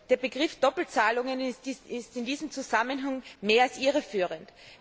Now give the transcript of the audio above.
Der Begriff Doppelzahlungen ist in diesem Zusammenhang mehr als irreführend.